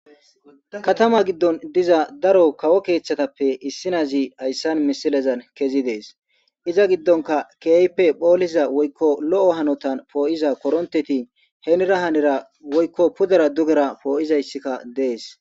Katama giddon diza daro kawo keeththatappe issinazi hayssan misilezan kezi dees iza giddonka keeype phooliza woykko lo'o hanotan poo'iza koronteti heenira hanera woykko pudara dugera pooyizayssikka dees.